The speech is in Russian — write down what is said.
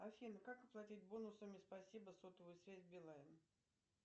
афина как оплатить бонусами спасибо сотовую связь билайн